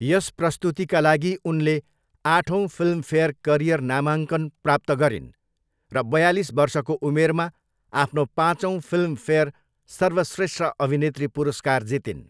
यस प्रस्तुतिका लागि उनले आठौँ फिल्मफेयर करियर नामाङ्कन प्राप्त गरिन् र बयालिस वर्षको उमेरमा आफ्नो पाँचौ फिल्मफेयर सर्वश्रेष्ठ अभिनेत्री पुरस्कार जितिन्।